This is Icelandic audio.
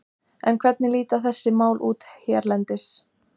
En hvernig líta þessi mál út hérlendis?